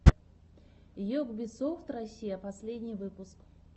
йгбисофт россия последний выпуск